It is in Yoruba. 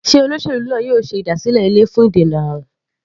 Sé olóṣèlú náà yóò ṣe ìdásílẹ̀ ilé fún ìdènà àrùn?